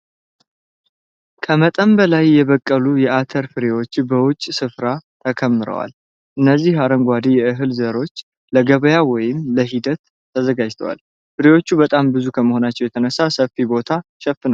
ከመጠን በላይ የበቀሉ የኣተር ፍሬዎች በውጭ ስፍራ ተከምረዋል። እነዚህ አረንጓዴ የእህል ዘሮች ለገበያ ወይም ለሂደት ተዘጋጅተዋል። ፍሬዎቹ በጣም ብዙ ከመሆናቸው የተነሳ ሰፊ ቦታ ሸፍነዋል።